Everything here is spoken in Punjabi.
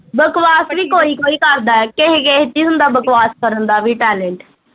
ਬਕਵਾਸ ਵੀ ਕੋਈ ਕੋਈ ਕਰਦਾ ਆ ਏ ਕਿਸੇ ਕਿਸੇ ਚ ਈ ਹੁੰਦਾ ਬਕਵਾਸ ਕਰਨ ਦਾ ਵੀ talent